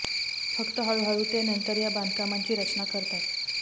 फक्त हळूहळू ते नंतर या बांधकामांची रचना करतात